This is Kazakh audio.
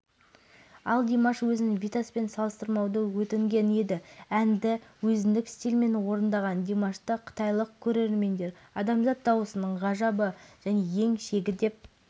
ал димаш өзін витаспен салыстырмауды өтінген еді әнді өзіндік стильмен орындаған димашты қытайлық көрермендер адамзат дауысының ғажабы және ең шегі деп